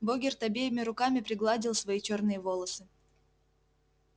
богерт обеими руками пригладил свои чёрные волосы